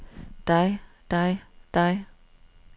dig dig dig